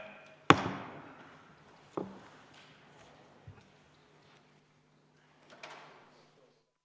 Istungi lõpp kell 18.36.